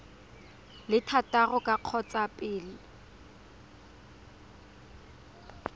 le thataro ka kgotsa pele